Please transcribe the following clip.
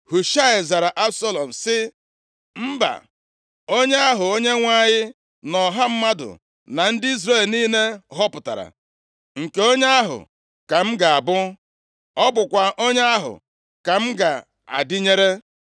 Hushaị zara Absalọm sị, “Mba! Onye ahụ Onyenwe anyị na ọha mmadụ na ndị Izrel niile họpụtara, nke onye ahụ ka m ga-abụ. Ọ bụkwa onye ahụ ka m ga-adịnyere.